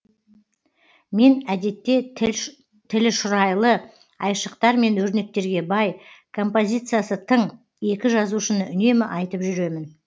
мен әдетте тілі шұрайлы айшықтар мен өрнектерге бай композициясы тың екі жазушыны үнемі айтып жүремін